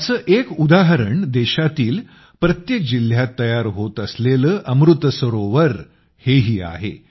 याचं एक उदादरण देशातील प्रत्येक जिल्ह्यात तयार होत असलेल्या अमृतसरोवर हेही आहे